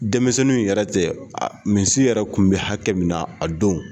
Denmisɛnninw yɛrɛ tɛ misi yɛrɛ tun bɛ hakɛ min na a don